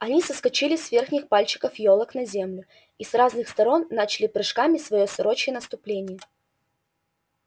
они соскочили с верхних пальчиков ёлок на землю и с разных сторон начали прыжками своё сорочье наступление